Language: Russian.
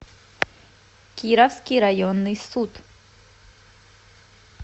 кировский районный суд